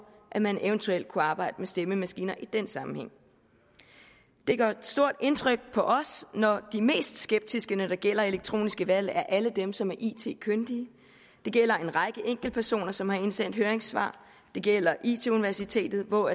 at man eventuelt kunne arbejde med stemmemaskiner i den sammenhæng det gør stort indtryk på os når de mest skeptiske når det gælder elektroniske valg er alle dem som er it kyndige det gælder en række enkeltpersoner som har indsendt høringssvar det gælder it universitetet hvor